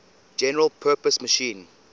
general purpose machine